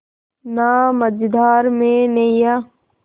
ना मझधार में नैय्या